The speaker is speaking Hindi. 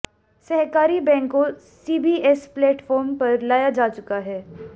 सहकारी बैंकों सीबीएस प्लेटफार्म पर लाया जा चुका है